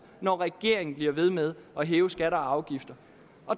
når regeringen bliver ved med at hæve skatter og afgifter